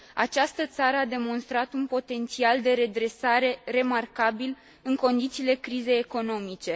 Această țară a demonstrat un potențial de redresare remarcabil în condițiile crizei economice.